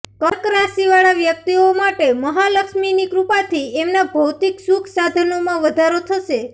કર્ક રાશિવાળા વ્યક્તિઓ માટે મહાલક્ષ્મીની કૃપાથી એમના ભૌતિક સુખ સાધનોમાં વધારો થશે